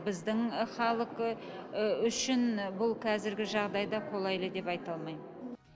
біздің ы халық ы үшін бұл қазіргі жағдайда қолайлы деп айта алмаймын